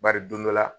Bari don dɔ la